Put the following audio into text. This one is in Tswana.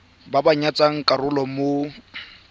ba ba tsayang karolo mo